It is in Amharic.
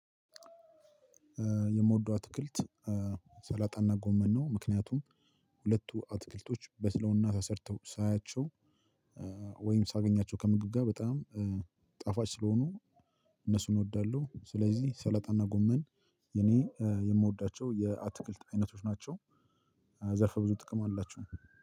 የምወደው አትክልት ሰላጣ እና ጎመን ነው ምክንያቱም ሁለቱ አትክልቶች በስለውና ተሰርተው ሳያቸው ወይም ሳገኛቸው ከምግብ ጋር በጣም ጣፋጭ ስለሆኑ እነሱን እወዳለሁ። ስለዚህ ሰለጠና ጎመን የኔ የምወዳቸው የአትክልት አይነቶች ናቸው። ዘርፈ ብዙ ጥቅም አላቸው።